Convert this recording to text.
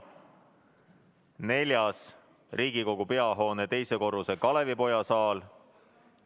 Neljas on Riigikogu peahoone teisel korrusel asuv Kalevipoja saal.